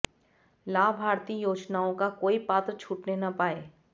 लाभार्थी योजनाओं का कोई पात्र छूटने न पाए